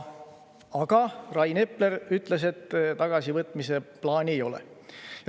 Aga Rain Epler ütles, et tagasivõtmise plaani ei ole.